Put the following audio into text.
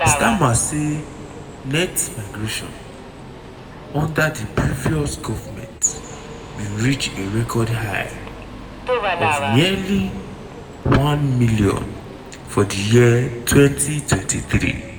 starmer say net migration under di previous govment bin reach a record high of nearly one million for di year 2023.